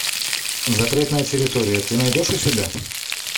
запретная территория ты найдешь у себя